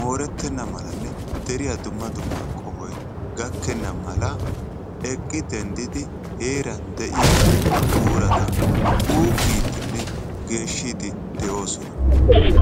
mooretenne malanne deriyaa dumma dumma qohoy gakkena mala eqqi denddidi heeran de'iyaa buurata xuugidenne geeshshide de'oosona.